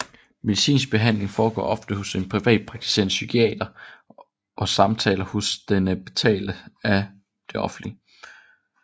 Medicinsk behandling foregår oftest hos en privatpraktiserende psykiater og samtaler hos denne betales af det offentlige